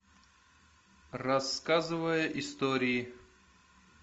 рассказывая истории